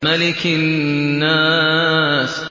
مَلِكِ النَّاسِ